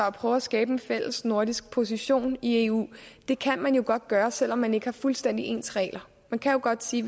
at prøve at skabe en fælles nordisk position i eu at det kan man jo godt gøre selv om man ikke har fuldstændig ens regler man kan jo godt sige